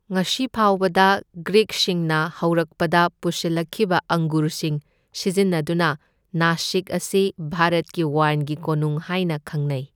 ꯉꯁꯤ ꯐꯥꯎꯕꯗ, ꯒ꯭ꯔꯤꯛꯁꯤꯡꯅ ꯍꯧꯔꯛꯄꯗ ꯄꯨꯁꯤꯜꯂꯛꯈꯤꯕ ꯑꯪꯒꯨꯔꯁꯤꯡ ꯁꯤꯖꯤꯟꯅꯗꯨꯅ, ꯅꯥꯁꯤꯛ ꯑꯁꯤ ꯚꯥꯔꯠꯀꯤ ꯋꯥꯏꯟꯒꯤ ꯀꯣꯅꯨꯡ ꯍꯥꯏꯅ ꯈꯪꯅꯩ꯫